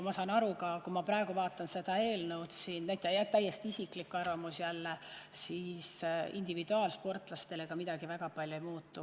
Ma saan aru, kui ma praegu vaatan seda eelnõu – jah, täiesti isiklik arvamus jälle –, et individuaalsportlastel ka midagi väga palju ei muutu.